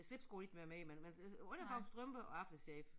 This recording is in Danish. Slipsko ikke være med i men men altså underbukser strømper og aftershave